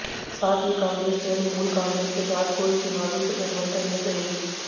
साथ ही कांग्रेस तृणमूल कांग्रेस के साथ कोई चुनावी गठबंधन नहीं करेगी